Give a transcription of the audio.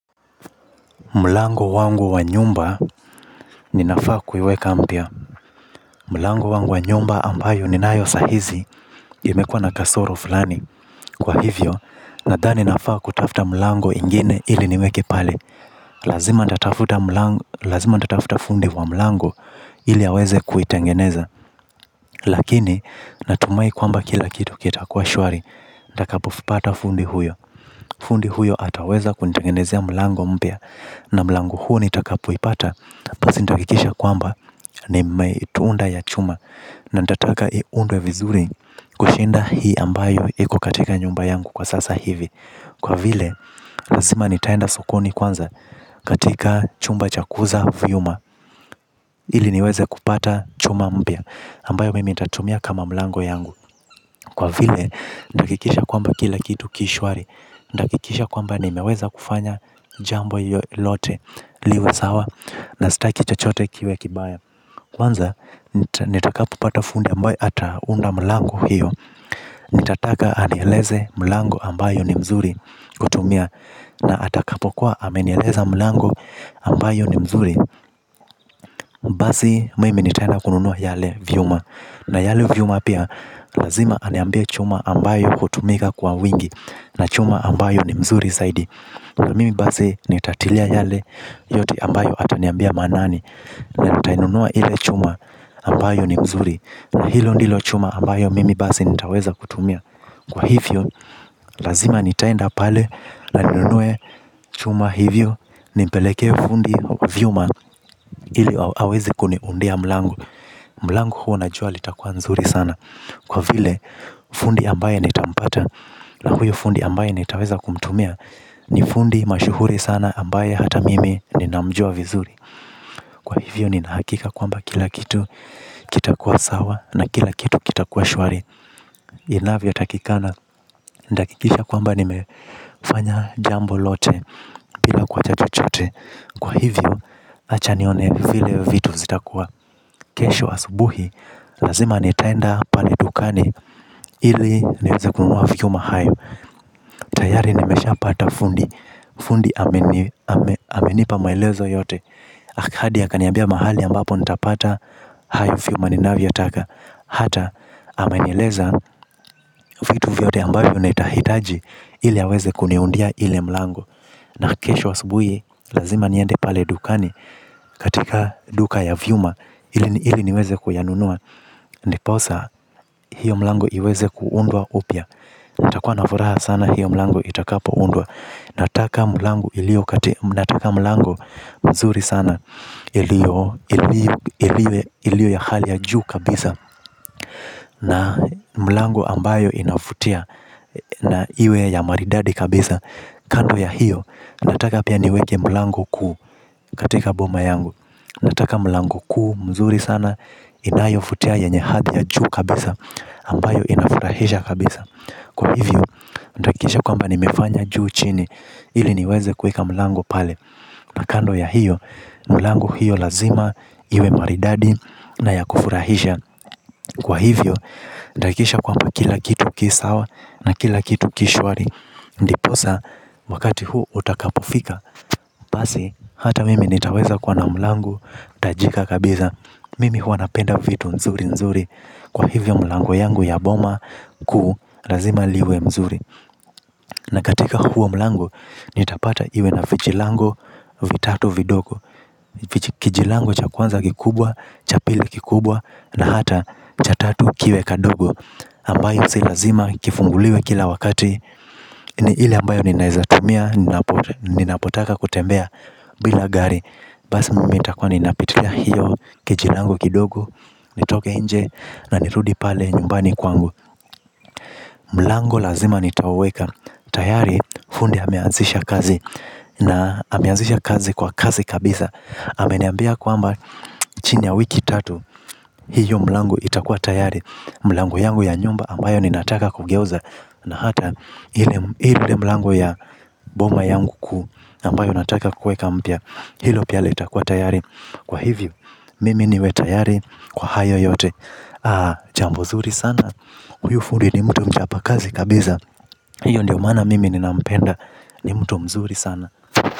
Mlango wangu wa nyumba ninafaa kuiweka mpya. Mlango wangu wa nyumba ambayo ninayo sahizi, imekuwa na kasoro fulani. Kwa hivyo, nadhani nafaa kutafuta mlango ingine ili niweke pale. Lazima nitatafuta fundi wa mlango ili aweze kuitengeneza. Lakini natumai kwamba kila kitu kitakuwa shwari nitakapopata fundi huyo. Fundi huyo ataweza kunitengenezea mlango mpya. Na mlango huo nitakapoipata basi nitahakikisha ya kwamba nimeitunda ya chuma. Na nitataka iundwe vizuri kushinda hii ambayo iko katika nyumba yangu kwa sasa hivi. Kwa vile lazima nitaenda sokoni kwanza katika chumba cha kuuza vyuma ili niweze kupata chuma mpya ambayo mimi nitatumia kama mlango yangu. Kwa vile nitahakikisha kwamba kila kitu ki shwari. Nitahakikisha kwamba nimeweza kufanya jambo lote liwe sawa na sitaki chochote kiwe kibaya. Kwanza nitakapopata fundi ambaye ataunda mlango hiyo nitataka anieleze mlango ambayo ni mzuri kutumia. Na atakapo kuwa amenieleza mlango ambayo ni mzuri basi mimi nitaenda kununua yale vyuma. Na yale vyuma pia lazima aniambie chuma ambayo hutumika kwa wingi. Na chuma ambayo ni mzuri zaidi. Na mimi basi nitatilia yale yote ambayo ataniambia maanani. Na natainunua ile chuma ambayo ni mzuri na hilo ndilo chuma ambayo mimi basi nitaweza kutumia. Kwa hivyo, lazima nitaenda pale na ninunue chuma hivyo nimpelekee fundi vyuma ili aweze kuniundia mlango. Mlango huo najua litakua nzuri sana. Kwa vile, fundi ambaye nitampata na huyo fundi ambaye nitaweza kumtumia ni fundi mashuhuri sana ambaye hata mimi ninamjua vizuri. Kwa hivyo nina hakika kwamba kila kitu kitakuwa sawa na kila kitu kitakuwa shwari. Inavyotakikana. Nitahakikisha kwamba nimefanya jambo lote bila kuacha chochote. Kwa hivyo acha nione vile vitu zitakuwa kesho asubuhi. Lazima nitaenda pale dukani ili niweze kununua vyuma hayo. Tayari nimeshapata fundi. Fundi amenipa maelezo yote. Hadi akaniambia mahali ambapo nitapata hayo vyuma ninavyotaka. Hata amenieleza vitu vyote ambayo nitahitaji ili aweze kuniundia ile mlango. Na kesho asubuhi lazima niende pale dukani katika duka ya vyuma ili niweze kuyanunua ndiposa hiyo mlango iweze kuundwa upya. Nitakuwa na furaha sana hiyo mlango itakapoundwa. Nataka mlango iliyo katika nataka mlango mzuri sana iliyo ya hali ya juu kabisa. Na mlango ambayo inavutia na iwe ya maridadi kabisa. Kando ya hiyo nataka pia niweke mlango kuu katika boma yangu. Nataka mlango kuu mzuri sana inayovutia yenye hali ya juu kabisa. Ambayo inafurahisha kabisa. Kwa hivyo, nitahakikisha kwamba nimefanya juu chini, ili niweze kuweka mlango pale. Na kando ya hiyo, mlango hiyo lazima, iwe maridadi na ya kufurahisha. Kwa hivyo, nitahakikisha kwamba kila kitu ki sawa na kila kitu ki shwari. Ndiposa, wakati huu utakapofika basi, hata mimi nitaweza kwa na mlango, tajika kabisa. Mimi huwa napenda vitu nzuri nzuri. Kwa hivyo mlango yangu ya boma kuu, lazima liwe mzuri. Na katika huo mlango, nitapata iwe na vijilango vitatu vidogo. Kijalango cha kwanza kikubwa, cha pili kikubwa, na hata cha tatu kiwe kadogo. Ambayo si lazima kifunguliwe kila wakati. Ile ambayo ninaeza tumia, ninapotaka kutembea bila gari. Basi mimi nitakuwa ninapitilia hiyo geti langu kidogo. Nitoke nje na nirudi pale nyumbani kwangu. Mlango lazima nitauweka. Tayari fundi ameanzisha kazi na ameanzisha kazi kwa kasi kabisa. Ameniambia kwamba chini ya wiki tatu hiyo mlango itakuwa tayari. Mlango yangu ya nyumba ambayo ninataka kugeuza na hata ile mlango ya boma yangu kuu. Ambayo nataka kuweka mpya. Hilo pia litakua tayari. Kwa hivyo mimi niwe tayari kwa hayo yote. Jambo zuri sana. Huyo fundi ni mtu mchapakazi kabisa. Hiyo ndio maana mimi ninampenda. Ni mtu mzuri sana.